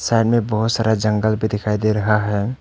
Side मे बहोत सारा जंगल भी दिखाई दे रहा है।